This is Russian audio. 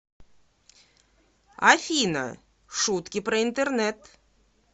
афина шутки про интернет